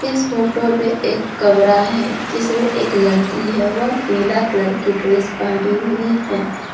इस फोटो में एक कमरा है जिसमें एक लड़की है वह पीला कलर की ड्रेस पहनी हुई है।